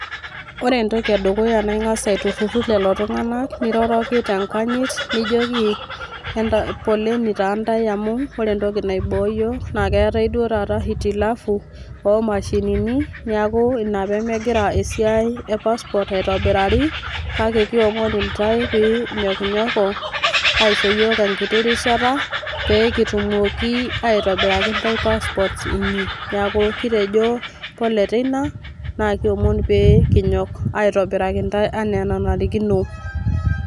Ore entoki edukuya naa ing'as aitururu lelo tung'ana niroroki te nkanyit, nijoki enta... poleni taa ntae amu ore entoki naiboo iyiok naa keetai duo taata hitilafu oo mashinini neaku inaa pee megira esiai e passport aitobiraari, kake kiomon intae pee inyokinyoko aisho iyiok enkiti rishata, pee kitumoki aitobiraki intae passport inyi. Neaku kitejo pole tii ina naa kiomon pee kinyok aitobiraki intae anaa enanarikino.